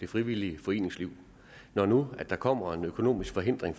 det frivillige foreningsliv når nu der kommer en økonomisk forhindring